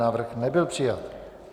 Návrh nebyl přijat.